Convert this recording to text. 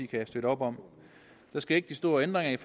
kan støtte op om der sker ikke de store ændringer